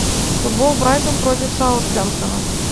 футбол брайтон против саутгемптона